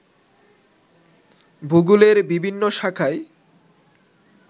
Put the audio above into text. ভূগোলের বিভিন্ন শাখায়